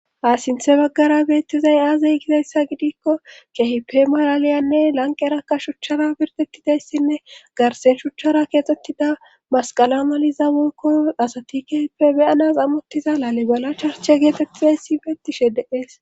Ta sinthe baggara beettizay aazey gidayssa gidikko kehipe maraliyanne lanqerakka shuchchara pirtettidayssinne garsen shuchchara keexxettida masqala maliza wonkko asati kehipe beyanas ammottiza laalibala charche geetettaysi beettishe deees.